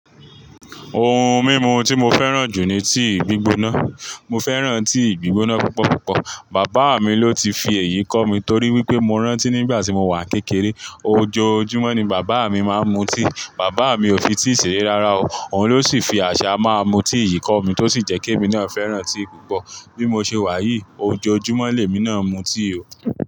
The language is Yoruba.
Ohun mímu tí mo fẹ́ràn jù ni tea gbígbóná. Mo fẹ́ràn tea gbígbóná púpọ̀púpọ̀. Bàbá mi ló ti fi èyí kọ́ mi torí wípé mo rántí nígbà tí mo wà kékeré, ojoojúmọ́ ni bàbá mi máa ń mu tíì. Bàbá mi ò fi tea ṣeré rárá o, òun ló sì fi àṣà máa mú tea yìí kọ́ mi tó sì jẹ́ kí èmi náà fẹ́ràn tea púpọ̀. Bí mo ṣe wà yìí, ojoojúmọ́ lèmi náà ń mu tea o.